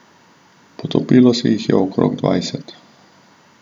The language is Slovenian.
Potopilo se jih je okrog dvajset.